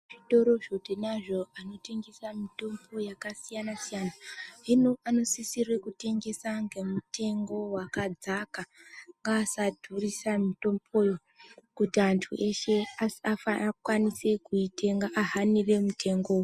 Zvitorozvo tinazvo zvinotengese mitombo yakasiyanasiyana hino anosisire kutengesa ngemutengo wakadzaka ngasaadhurisa mitomboyo kuti anhu eshe akwanise kuitenga ,ahanire mutengewo.